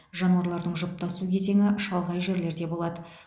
жануарлардың жұптасу кезеңі шалғай жерлерде болады